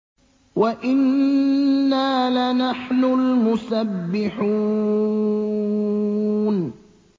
وَإِنَّا لَنَحْنُ الْمُسَبِّحُونَ